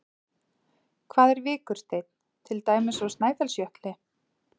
Hvað er vikursteinn, til dæmis úr Snæfellsjökli?